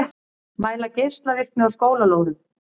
Mæla geislavirkni á skólalóðum